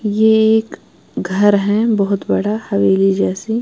ये एक घर है बहोत बड़ा हवेली जैसी --